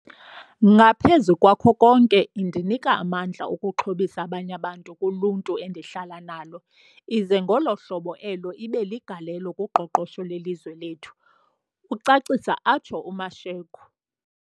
"Ngaphezu kwako konke, indinika amandla okuxhobisa abanye abantu kuluntu endihlala nalo ize ngolo hlobo elo ibe ligalelo kuqoqosho lwelizwe sethu," ucacisa atsho uMashego.